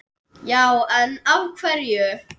Já en. af hverju?